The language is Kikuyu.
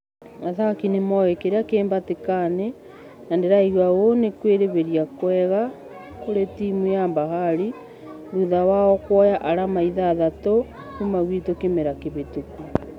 Athaki nĩmoe kĩrĩa kĩhatĩkainĩ na ndĩraigua ũu ni kwĩreheria kwega kũri timũ ya bahari thutha wao kũoya arama ithathatũ kuma gwitũ kĩmera kĩhũtũku.